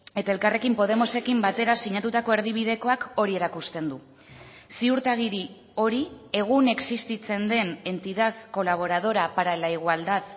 eta elkarrekin podemosekin batera sinatutako erdibidekoak hori erakusten du ziurtagiri hori egun existitzen den entidad colaboradora para la igualdad